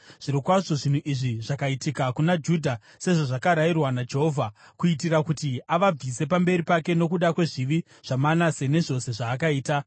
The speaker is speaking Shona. Zvirokwazvo zvinhu izvi zvakaitika kuna Judha sezvazvakarayirwa naJehovha, kuitira kuti avabvise pamberi pake nokuda kwezvivi zvaManase nezvose zvaakaita,